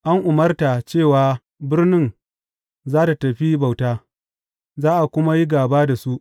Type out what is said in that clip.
An umarta cewa birnin za tă tafi bauta, za a kuma yi gaba da su.